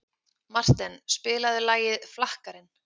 Marten, spilaðu lagið „Flakkarinn“.